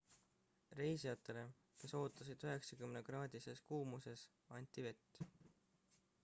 reisijatele kes ootasid 90-kraadises f kuumuses anti vett